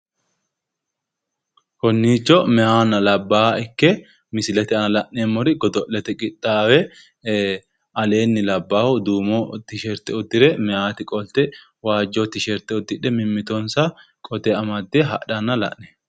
Konniicho meyahanna labbaaha ikke misilete aana la'neemmori godo'lete qixxaawe aleenni labbahu duume tisherte uddire meyati qolte waajjo tisherte uddidhe mimmitonsa qote amadde hadhanna la'neemno